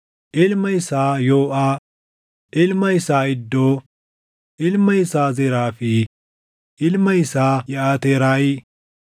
ilma isaa Yooʼaa, ilma isaa Iddoo, ilma isaa Zeraa fi ilma isaa Yeʼaateraayi.